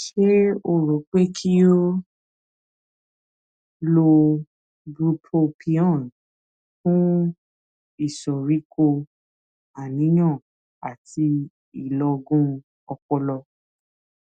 ṣé o rò pé kí o lo bupropion fún ìsoríkó àníyàn àti ìlọgun ọpọlọ